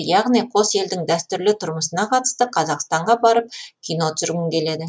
яғни қос елдің дәстүрлі тұрмысына қатысты қазақстанға барып кино түсіргім келеді